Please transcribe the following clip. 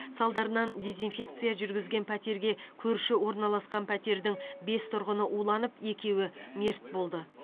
салдарынан дезинфекция жүргізген пәтерге көрші орналасқан пәтердің бес тұрғыны уланып екеуі мерт болды